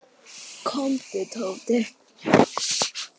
Komdu Tóti.